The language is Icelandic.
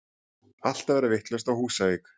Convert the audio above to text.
Allt að verða vitlaust á Húsavík!!!!!